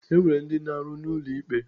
E nwere ndi na-aru n'ulo ikpe.